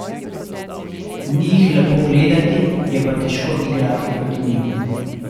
Ni jih lepo gledati, je pa težko igrati proti njim.